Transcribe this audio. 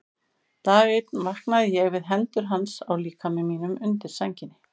Dag einn vaknaði ég við hendur hans á líkama mínum undir sænginni.